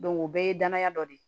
o bɛɛ ye danaya dɔ ye